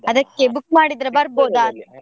ಅದಕ್ಕೆ book ಮಾಡಿದ್ರೆ .